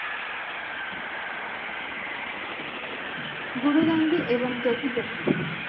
গুরুগান জি এবং জ্যোতি জ্যোতি